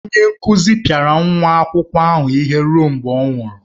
Onye nkụzi ahụ pịara nwa akwụkwọ ahụ ihe ruo mgbe ọ nwụrụ.